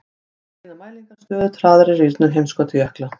Þá sýna mælingar stöðugt hraðari rýrnun heimskautajökla.